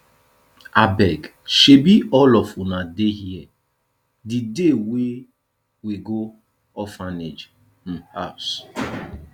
abeg shebi all of una dey here the day we go orphanage um house